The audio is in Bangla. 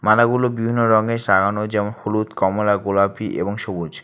মালাগুলো বিভিন্ন রঙে সাজানো যেমন হলুদ কমলা গোলাপী এবং সবুজ।